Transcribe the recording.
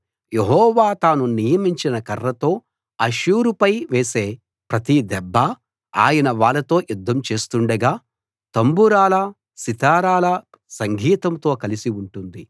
యెహోవా తాను నియమించిన కర్రతో అష్షూరు పై వేసే ప్రతి దెబ్బా ఆయన వాళ్ళతో యుద్ధం చేస్తుండగా తంబురాల సితారాల సంగీతంతో కలసి ఉంటుంది